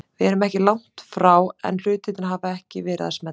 Við erum ekki langt frá en hlutirnir hafa ekki verið að smella.